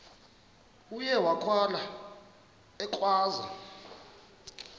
uye wakhala ekhwaza